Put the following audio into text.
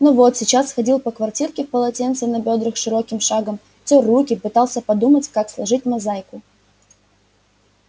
но вот сейчас ходил по квартирке в полотенце на бёдрах широким шагом тёр руки пытался подумать как сложить мозаику